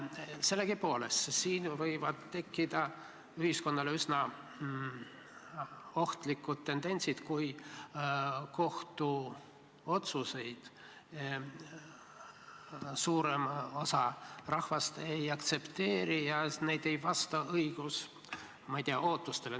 Sellegipoolest võivad siin tekkida ühiskonnale üsna ohtlikud tendentsid, kui suurem osa rahvast kohtu otsuseid ei aktsepteeri ja need ei vasta, ma ei tea, õigusootustele.